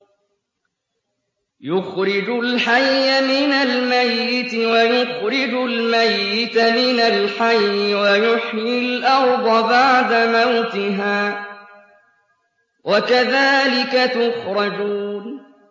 يُخْرِجُ الْحَيَّ مِنَ الْمَيِّتِ وَيُخْرِجُ الْمَيِّتَ مِنَ الْحَيِّ وَيُحْيِي الْأَرْضَ بَعْدَ مَوْتِهَا ۚ وَكَذَٰلِكَ تُخْرَجُونَ